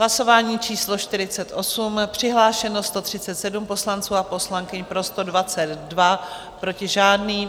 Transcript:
Hlasování číslo 48, přihlášeno 137 poslanců a poslankyň, pro 122, proti žádný.